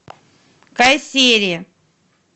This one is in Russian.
кайсери